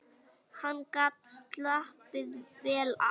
Hann gat slappað vel af.